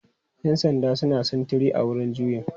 Yan sandan suna sintiri a wurin juyin.